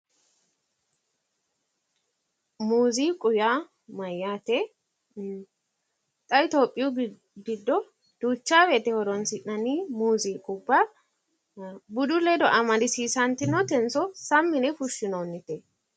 Mooziiqu yaa mayyaate xa itopiyu giddo duucha woyte horoonsi'nanni muziiqubba budu ledo amadisiisantinotenso Sammi yine fushshinoonnite